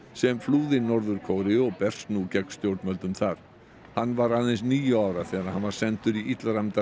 sem flúði Norður Kóreu og berst nú gegn stjórnvöldum þar hann var aðeins níu ára þegar hann var sendur í